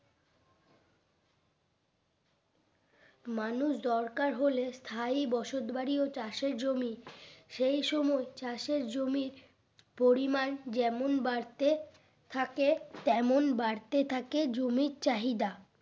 মানুষ দরকার হলে স্থায়ী বসত বাড়ি ও চাষের জমি সেই সময় চাষের জমি পরিমান যেমন বাড়তে থাকে তেমন বাড়তে থাকে জমির চাহিদা